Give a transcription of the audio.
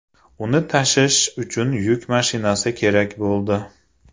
Uni tashish uchun yuk mashinasi kerak bo‘ldi.